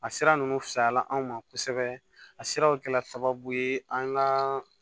A sira ninnu fisayala anw ma kosɛbɛ a siraw kɛra sababu ye an ka